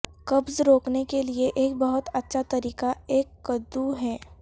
قبض روکنے کے لئے ایک بہت اچھا طریقہ ایک قددو ہے